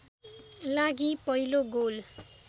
लागि पहिलो गोल